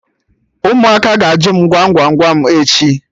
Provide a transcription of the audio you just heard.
Ụmụaka ga-ajụ m Gwam Gwam Gwam echi